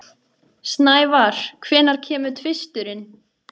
Snævar, hvenær kemur tvisturinn?